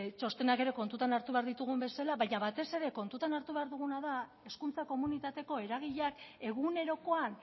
txostenak ere kontutan hartu behar ditugun bezala baina batez ere kontutan hartu behar duguna da hezkuntza komunitateko eragileak egunerokoan